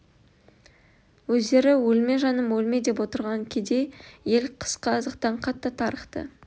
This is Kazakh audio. өздері өлме жаным өлме деп отырған кедей ел қысқы азықтан қатты тарықты